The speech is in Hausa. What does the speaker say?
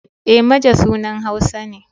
E, Maje sunan Hausa ne.